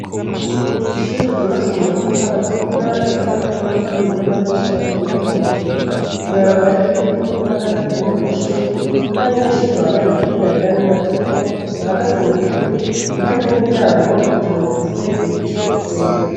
ishuri ryubatswe mu matafari tukura rifise amagorofa abiri n'amadirisha mato mato hejuru ibarabara ry'ivu n'akatsi kari imbere y'ishuri n'abanyeshuri bambaye imipira yera n'amajipo bahagaze mu tugwi impande y'umuryango ijuru rifise ibicu vyera